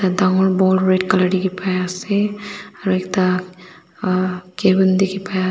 dangor ball red colour dikhipai ase aro ekta cavin dikhiase.